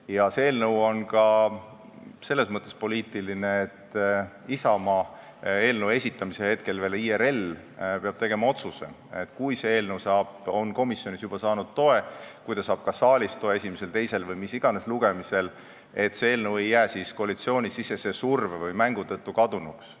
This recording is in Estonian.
Ja see eelnõu on ka selles mõttes poliitiline, et Isamaa – eelnõu esitamise hetkel veel IRL – peab tegema nii, et kui eelnõu on juba komisjonis toe saanud ja saab selle toe ka esimesel, teisel või mis iganes lugemisel saalis, siis see ei jää koalitsioonisisese surve või mängu tõttu kadunuks.